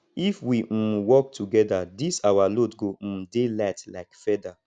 if we um work togeda dis our load go um dey light like feather